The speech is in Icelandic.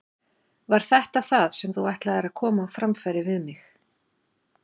Var þetta það sem þú ætlaðir að koma á framfæri við mig?